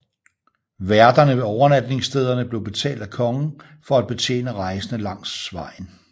Værterne ved overnatningsstederne blev betalt af kongen for at betjene rejsende langs vejen